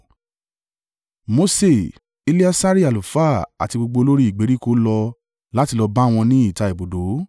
Mose, Eleasari àlùfáà àti gbogbo olórí ìgbèríko lọ láti lọ bá wọn ní ìta ibùdó.